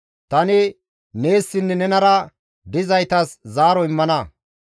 Tani neessinne nenara dizaytas zaaro immana.